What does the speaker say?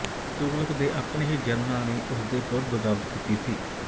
ਤੁਗ਼ਲਕ ਦੇ ਆਪਣੇ ਹੀ ਜਨਰਲਾਂ ਨੇ ਉਸਦੇ ਵਿਰੁੱਧ ਬਗਾਵਤ ਕੀਤੀ ਸੀ